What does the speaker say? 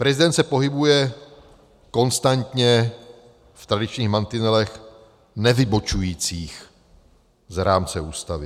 Prezident se pohybuje konstantně v tradičních mantinelech nevybočujících z rámce Ústavy.